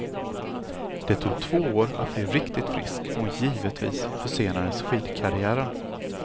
Det tog två år att bli riktigt frisk och givetvis försenades skidkarriären.